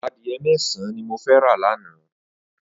Adiẹ mẹsãn ni mó fẹ rà lànã